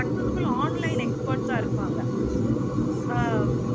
successful online experts ஆஹ் இருப்பாங்க. ஆஹ்